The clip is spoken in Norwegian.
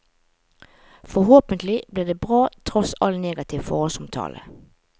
Forhåpentlig blir det bra tross all negativ forhåndsomtale.